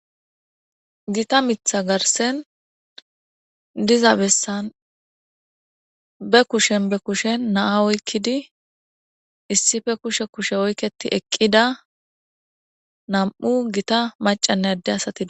Giita miththa garssan diiza bessan be kushshen be kushshen na'a oykkidi issipe kushshe kushe oykketi eqqida nam'u giita maccane adde asati do--